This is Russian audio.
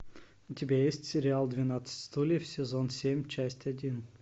у тебя есть сериал двенадцать стульев сезон семь часть один